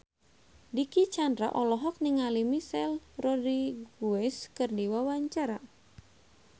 Dicky Chandra olohok ningali Michelle Rodriguez keur diwawancara